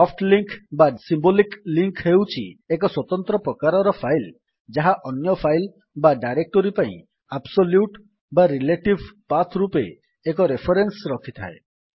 soft link symbolic link ହେଉଛି ଏକ ସ୍ୱତନ୍ତ୍ର ପ୍ରକାରର ଫାଇଲ୍ ଯାହା ଅନ୍ୟ ଫାଇଲ୍ ବା ଡାଇରେକ୍ଟୋରୀ ପାଇଁ ଆବ୍ସୋଲ୍ୟୁଟ୍ ବା ରିଲେଟିଭ୍ ପାଥ୍ ରୂପରେ ଏକ ରେଫରେନ୍ସ୍ ରଖିଥାଏ